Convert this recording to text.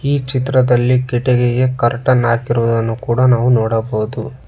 ಈ ಚಿತ್ರದಲ್ಲಿ ಕಿಟಕಿಗೆ ಕರ್ಟನ್ ಹಾಕಿರುವುದನ್ನು ಕೂಡ ನಾವು ನೋಡಬಹುದು.